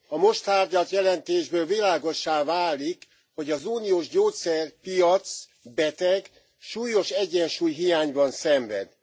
A most tárgyalt jelentésből világossá válik, hogy az uniós gyógyszerpiac beteg, súlyos egyensúlyhiányban szenved.